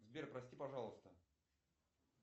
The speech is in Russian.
сбер прости пожалуйста